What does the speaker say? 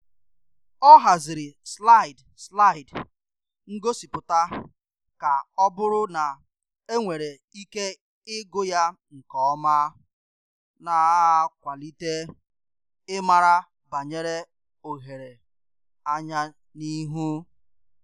Ọ haziri slide slide ngosipụta ka ọ buru na enwere ike igù ya nke oma, na-akwalite ịmara banyere ohere anya n'ịhu.